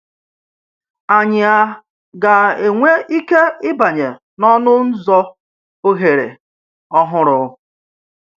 Ányị̀ a gà-ànwè íkè íbànye n’ọnụ́ ǹzọ̀ òhèrè ọ̀húrù?